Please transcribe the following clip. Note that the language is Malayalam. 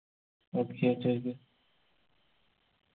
okay ചോയിക്ക്